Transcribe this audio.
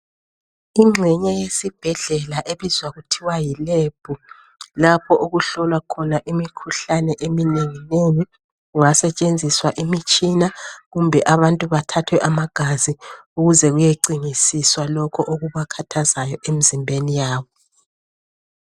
Ingxenye yesibhedlela ebizwa kuthiwa yiLab. Lapho okuhlolwa khona imikhuhlane eminenginengi. Kungasetshenziswa imitshina, kumbe abantu bathathwe amagazi, ukuze kuyecingisiswa lokho okubakhathazayo, emizimbeni yabo.